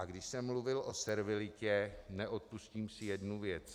A když jsem mluvil o servilitě, neodpustím si jednu věc.